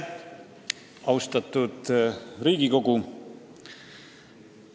Austatud Riigikogu!